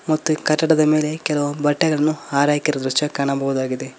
ಮತ್ತು ಕಟ್ಟಡದ ಮೇಲೆ ಕೆಲವು ಬಟ್ಟೆಗಳನ್ನು ಆರಹಾಕಿರುವ ದೃಶ್ಯ ಕಾಣಬಹುದಾಗಿದೆ.